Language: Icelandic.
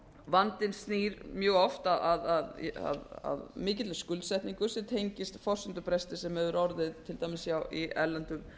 vandinn snýr mjög oft að mikilli skuldsetningu sem tengist forsendubresti sem hefur orðið til dæmis í erlendum